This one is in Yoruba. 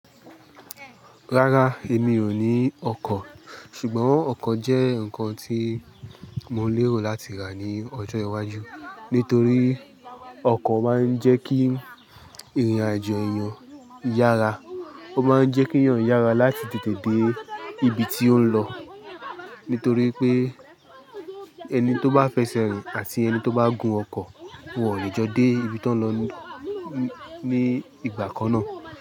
Ráraá, èmi ò ní ọkọ̀. Ṣùgbọ́n ọkọ̀ jẹ́ ǹkan tí mo lérò láti rà ní ọjọ́ iwáajú nítorí ọkọ̀ máa ń jẹ́ kií ìrìn-àjò èèyàn yára. Ó máa ń jẹ́ kí èèyàn yára láti tètè dé ibi tí ó ń lọ nítorí pé ẹni tó bá fiẹsẹ̀ rìn àti ẹni tó bá gun ọkọ̀, wọn ò lè jọ dé ibi tí wọ́n ń lọ ní ìgbaà kan náà.